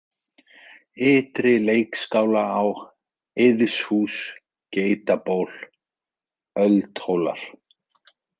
Ytri-Leikskálaá, Eiðshús, Geitaból, Öldhólar